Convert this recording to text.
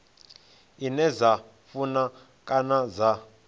ine dza funa kana dza